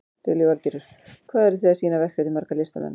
Lillý Valgerður: Hvað eru þið að sýna verk eftir marga listamenn?